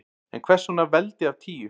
En hvers vegna veldi af tíu?